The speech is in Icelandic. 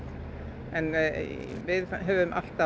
við höfum alltaf